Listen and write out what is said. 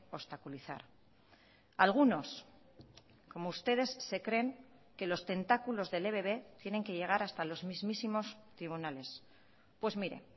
obstaculizar algunos como ustedes se creen que los tentáculos del ebb tienen que llegar hasta los mismísimos tribunales pues mire